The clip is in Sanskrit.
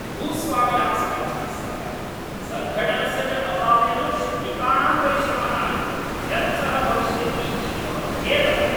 भूस्वामिनां समर्थनस्य, सङ्घटनस्य च अभावेन श्रमिकाणां परिश्रमः व्यर्थः भविष्यति इति मम खेदः अस्ति।